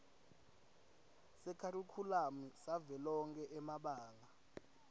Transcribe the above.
sekharikhulamu savelonkhe emabanga